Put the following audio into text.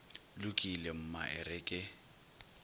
lokile mma e re ke